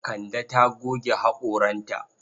Kande ta goge haƙoranta.